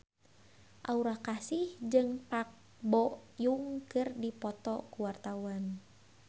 Aura Kasih jeung Park Bo Yung keur dipoto ku wartawan